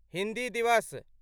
हिन्दी दिवस